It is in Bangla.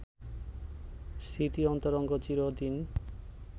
স্মৃতি অন্তরঙ্গ চিরদিন